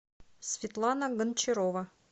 светлана гончарова